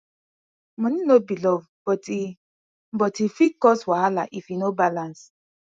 money no be love but e but e fit cause wahala if e no balance